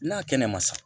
N'a kɛnɛ ma sa